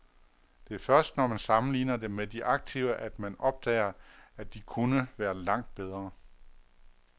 Det er først, når man sammenligner dem med de aktive, at man opdager, at de kunne være langt bedre.